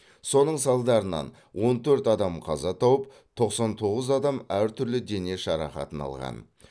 соның салдарынан он төрт адам қаза тауып тоқсан тоғыз адам әртүрлі дене жарақатын алған